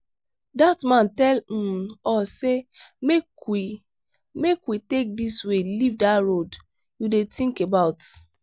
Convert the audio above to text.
dat man tell um us say make we make we take dis way leave dat road you dey think about.